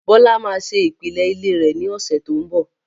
Bọlá máa ṣe ìpìlẹ̀ ilé rẹ̀ ní ọ̀sẹ̀ tí ó ń bọ̀